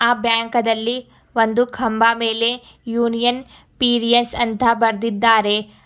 ಬ್ಯಾಂಕದಲ್ಲಿ ಒಂದು ಕಂಬ ಮೇಲೆ ಯೂನಿಯನ್ ಪಿರಿಯಸ್ ಅಂತ ಬರ್ದಿದ್ದಾರೆ.